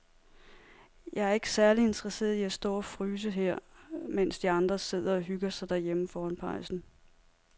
Jeg er ikke særlig interesseret i at stå og fryse her, mens de andre sidder og hygger sig derhjemme foran pejsen.